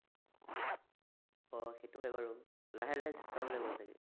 অ এইটো হয় বাৰু, লাহে লাহে চলাব লাগিব চাগে